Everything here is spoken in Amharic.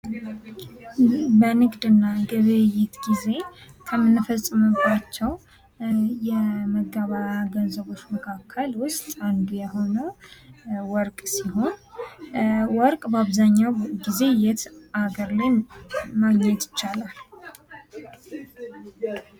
በንግድና ግብይት ጊዜ ከምንፈጽምባቸው የመገበያያ ገንዘቦች መካከል ውስጥ አንዱ የሆነው ወርቅ ሲሆን፤ ወርቅ በአብዛኛው ጊዜ የት ሀገር ማግኘት ይቻላል?